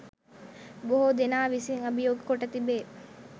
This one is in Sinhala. බොහෝ දෙනා විසින් අභියෝග කොට තිබේ.